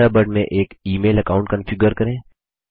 Thunderbird में एक email account configure करें